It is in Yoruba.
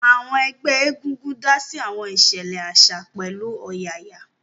Àwọn ẹgbẹ́ egungun dá sí àwọn ìṣẹ̀lẹ̀ àṣà pẹ̀lú ọ̀yàyà